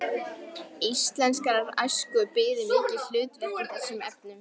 Íslenskrar æsku biði mikið hlutverk í þessum efnum.